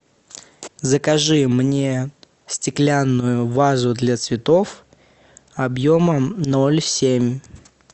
закажи мне стеклянную вазу для цветов объемом ноль семь